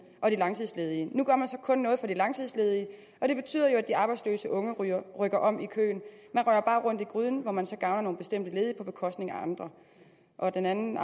og de langtidsledige nu gør man så kun noget for de langtidsledige og det betyder jo at de arbejdsløse unge rykker om i køen man rører bare rundt i gryden hvor man så gavner nogle bestemte ledige på bekostning af andre den anden